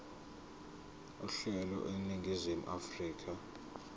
uhlelo eningizimu afrika